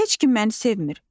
Heç kim məni sevmir.